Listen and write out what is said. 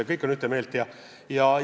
Kõik on ühte meelt!